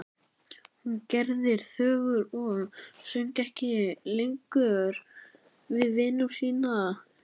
Hún gerðist þögul og söng ekki lengur við vinnu sína.